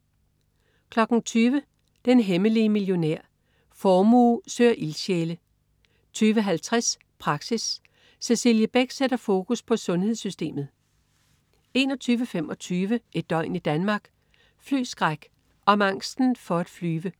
20.00 Den hemmelige millionær. Formue søger ildsjæle 20.50 Praxis. Cecilie Beck sætter fokus på sundhedssystemet 21.25 Et døgn i Danmark: Flyskræk. Om angsten for at flyve